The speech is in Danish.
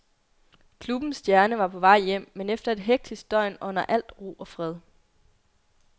Klubbens stjerne var på vej hjem, men efter et hektisk døgn ånder alt ro og fred.